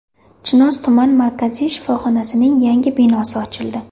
Chinoz tuman markaziy shifoxonasining yangi binosi ochildi.